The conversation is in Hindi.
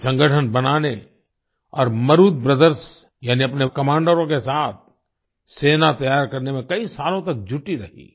वे संगठन बनाने और मरुदु ब्रदर्स यानि अपने कमांडरों के साथ सेना तैयार करने में कई सालों तक जुटी रहीं